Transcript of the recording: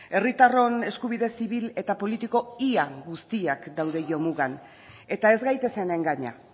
herritarron eskubide zibil eta politiko ia guztiak daude jomugan eta ez gaitezen engaina